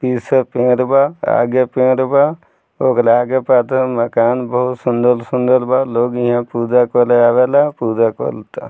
इ सब पेंड़ बा आगे पेंड़ बा ओकरा आगे मकान बहुत सुन्दर-सुन्दर बा लोग यहाँ पूजा करे आवेला पूजा कलता।